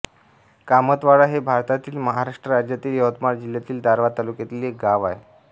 कामतवाडा हे भारतातील महाराष्ट्र राज्यातील यवतमाळ जिल्ह्यातील दारव्हा तालुक्यातील एक गाव आहे